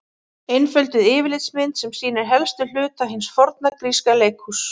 Einfölduð yfirlitsmynd sem sýnir helstu hluta hins forna gríska leikhúss.